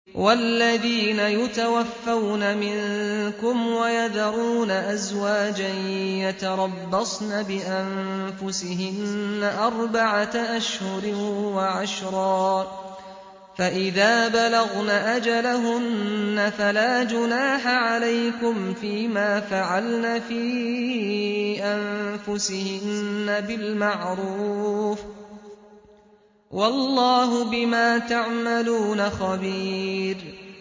وَالَّذِينَ يُتَوَفَّوْنَ مِنكُمْ وَيَذَرُونَ أَزْوَاجًا يَتَرَبَّصْنَ بِأَنفُسِهِنَّ أَرْبَعَةَ أَشْهُرٍ وَعَشْرًا ۖ فَإِذَا بَلَغْنَ أَجَلَهُنَّ فَلَا جُنَاحَ عَلَيْكُمْ فِيمَا فَعَلْنَ فِي أَنفُسِهِنَّ بِالْمَعْرُوفِ ۗ وَاللَّهُ بِمَا تَعْمَلُونَ خَبِيرٌ